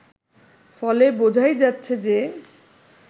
ফলে বোঝাই যাচ্ছে যে